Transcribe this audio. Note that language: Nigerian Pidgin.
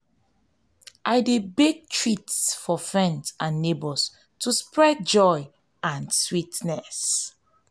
i dey bake treats for friends and neighbors to spread joy and sweetness.